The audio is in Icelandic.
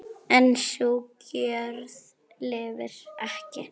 En sú gjörð lifir ekki.